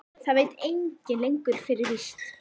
Það veit enginn lengur fyrir víst.